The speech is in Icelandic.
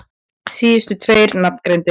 Síðustu tveir nafngreindir